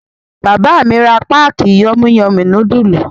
Bàbá mi ra páákì Yummy Yummy núdúlù.